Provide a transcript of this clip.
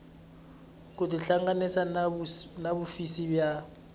ku tihlanganisa na hofisi ya